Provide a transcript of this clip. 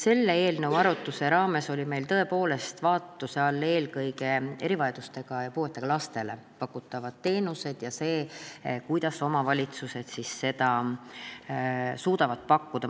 Selle eelnõu arutluse raames olid meil tõepoolest vaatluse all eelkõige erivajadustega, puuetega lastele pakutavad teenused ja see, kuidas omavalitsused neid suudavad pakkuda.